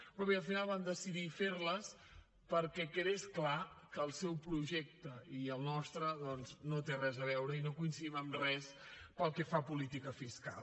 però bé al final vam decidir fer les perquè quedés clar que el seu projecte i el nostre doncs no tenen res a veure i no coincidim en res pel que fa a política fiscal